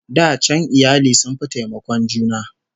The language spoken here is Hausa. Da can iyali sun fi taimakon juna